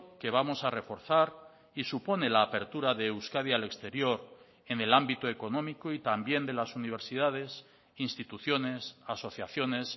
que vamos a reforzar y supone la apertura de euskadi al exterior en el ámbito económico y también de las universidades instituciones asociaciones